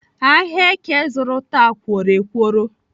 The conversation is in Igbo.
Ahịa èké zụrụ taa kworo ekworo